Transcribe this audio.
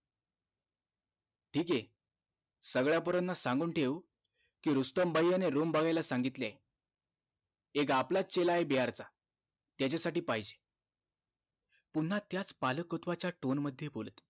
ठीक आहे सगळ्या पोरांना सांगून ठेव कि रुस्तम भय्या नि room बघाला सांगितलीये एक आपलाच चेला आहे बिहार चा त्याच्यासाठी पाहिजे पुन्हा त्याच पालकत्व च tone मध्ये बोलत